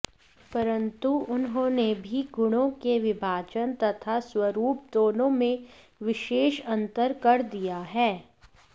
परन्तु उन्होंने भी गुणों के विभाजन तथा स्वरूप दोनों में विशेष अन्तर कर दिया है